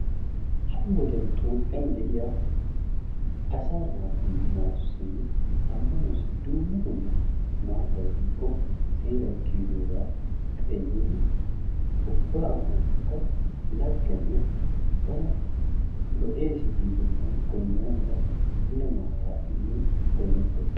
Ha"i wodiyan toophiyan de"iya asaa naatussinne ammanuwaassi dumma dumma maatay diiko seeray kiyidoogaa xeellidi ubba ammanuwaakka laggene bana lo"eesi giidoogan goyinnana mala mule maataa immin goyinettes.